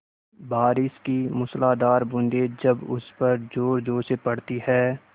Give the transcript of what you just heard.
बारिश की मूसलाधार बूँदें जब उस पर ज़ोरज़ोर से पड़ती हैं